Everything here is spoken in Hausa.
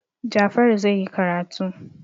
Jafaru zai yi karatu.